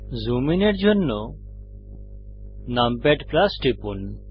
zoom ইনের জন্য numpad টিপুন